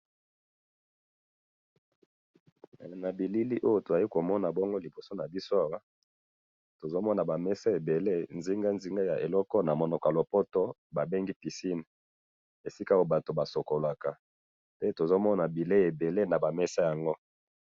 Nabilili oyo tozali komona bongo liboso nabiso awa, tozomona bameza ebele, nzinga nzinga ya eloko oyo namonoko yalopoto babengi piscine, esika oyo batu basukolaka, pe tozomona bileyi ebele nabamesa yango